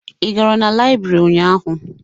Ị gara na Laibri ụnyaahụ?